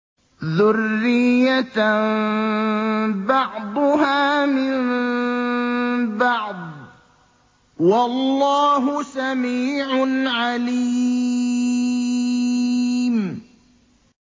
ذُرِّيَّةً بَعْضُهَا مِن بَعْضٍ ۗ وَاللَّهُ سَمِيعٌ عَلِيمٌ